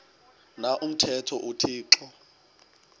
na umthetho uthixo